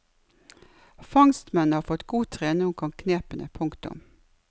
Fangstmennene har fått god trening og kan knepene. punktum